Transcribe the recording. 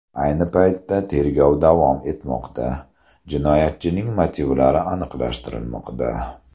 Ayni paytda tergov davom etmoqda, jinoyatchining motivlari aniqlashtirilmoqda.